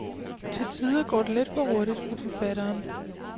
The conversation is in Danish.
Til tider går det lidt for hurtigt for forfatteren.